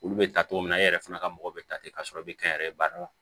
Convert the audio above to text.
Olu bɛ ta cogo min na e yɛrɛ fana ka mɔgɔ bɛ ta ten k'a sɔrɔ i bɛ kɛ n yɛrɛ ye baara la